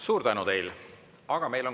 Suur tänu teile!